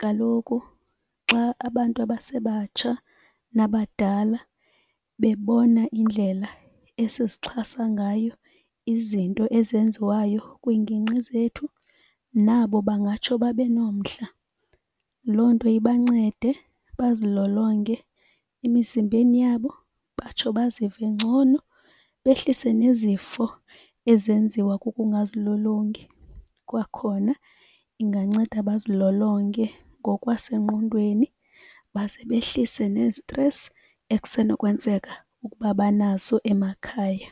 Kaloku xa abantu abasebatsha nabadala bebona indlela esizixhasa ngayo izinto ezenziwayo kwiingingqi zethu, nabo bangatsho babenomdla. Loo nto ibancede bazilolonge emizimbeni yabo, batsho bazive ngcono behlise nezifo ezenziwa kukungazilolongi. Kwakhona inganceda bazilolonge ngokwasengqondweni basebenzise nezitresi ekusenokwenzeka ukuba banaso emakhaya.